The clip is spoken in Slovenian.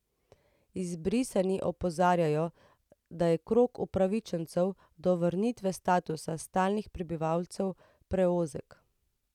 Izbrisani opozarjajo, da je krog upravičencev do vrnitve statusa stalnih prebivalcev preozek.